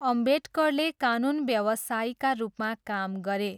अम्बेडकरले कानुन व्यवसायीका रूपमा काम गरे।